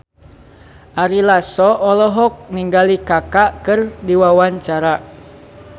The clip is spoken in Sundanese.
Ari Lasso olohok ningali Kaka keur diwawancara